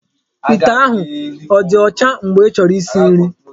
Ite ahụ ọ dị ọcha mgbe ịchọrọ isi nri?